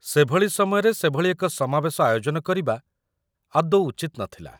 ସେଭଳି ସମୟରେ ସେଭଳି ଏକ ସମାବେଶ ଆୟୋଜନ କରିବା ଆଦୌ ଉଚିତ ନଥିଲା